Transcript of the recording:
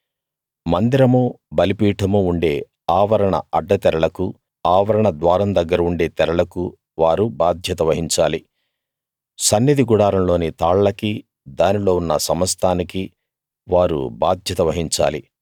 మందిరమూ బలిపీఠమూ ఉండే ఆవరణ అడ్డతెరలకూ ఆవరణ ద్వారం దగ్గర ఉండే తెరలకూ వారు బాధ్యత వహించాలి సన్నిధి గుడారం లోని తాళ్లకీ దానిలో ఉన్న సమస్తానికీ వారు బాధ్యత వహించాలి